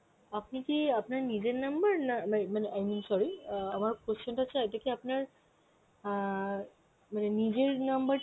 আপনি কি আপনার নিজের number না, না মানে sorry আমার question টা হচ্ছে ওইটা কি আপনার অ্যাঁ নিজের number